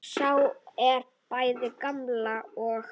Sá er bæði gamall og.